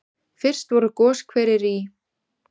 Fyrst voru goshverir í